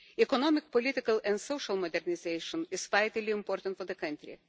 Economic, political and social modernisation is vitally important for the country.